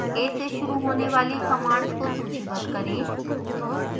a से शुरू होने वाली कमांड्स को सूचीबद्ध करें